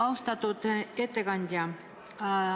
Austatud ettekandja!